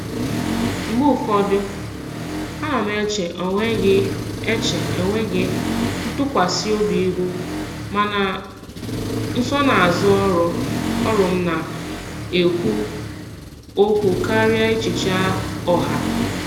Mgbe ụfọdụ, ana m eche enweghị eche enweghị ntụkwasị obi ihu, mana nsonaazụ ọrụ m na-ekwu okwu karịa echiche ọha.